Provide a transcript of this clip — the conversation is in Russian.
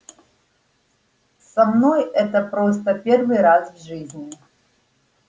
со мной это просто первый раз в жизни